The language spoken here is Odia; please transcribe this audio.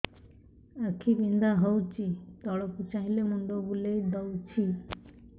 ଆଖି ବିନ୍ଧା ହଉଚି ତଳକୁ ଚାହିଁଲେ ମୁଣ୍ଡ ବୁଲେଇ ଦଉଛି